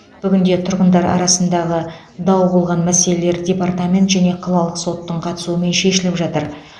бүгінде тұрғындар арасындағы дау болған мәселелер департамент және қалалық соттың қатысуымен шешіліп жатыр